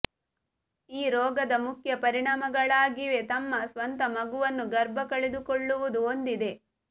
ಈ ರೋಗದ ಮುಖ್ಯ ಪರಿಣಾಮಗಳಾಗಿವೆ ತಮ್ಮ ಸ್ವಂತ ಮಗುವನ್ನು ಗರ್ಭ ಕಳೆದುಕೊಳ್ಳುವುದು ಹೊಂದಿದೆ